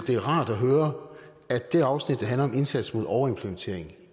det er rart at høre at det afsnit der handler om indsats mod overimplementering